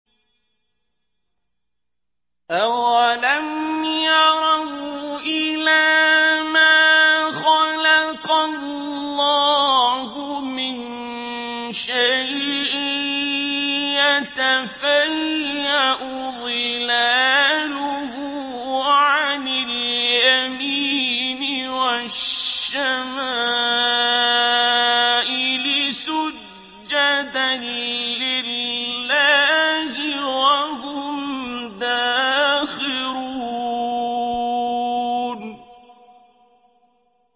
أَوَلَمْ يَرَوْا إِلَىٰ مَا خَلَقَ اللَّهُ مِن شَيْءٍ يَتَفَيَّأُ ظِلَالُهُ عَنِ الْيَمِينِ وَالشَّمَائِلِ سُجَّدًا لِّلَّهِ وَهُمْ دَاخِرُونَ